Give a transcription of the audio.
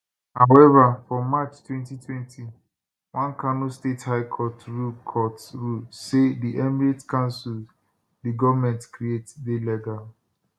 however for march 2020 one kano state high court rule court rule say di emirate councils di goment create dey legal